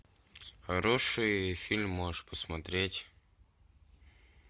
хороший фильм можешь посмотреть